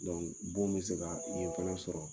gon bɛ se ka yen fana sɔrɔ